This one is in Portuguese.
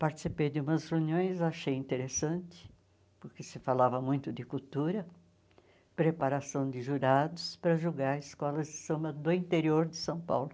Participei de umas reuniões, achei interessante, porque se falava muito de cultura, preparação de jurados para julgar escolas de samba do interior de São Paulo.